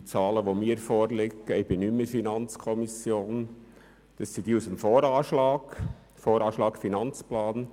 Die Zahlen, die mir vorliegen, stammen aus dem VA 18 und dem AFP.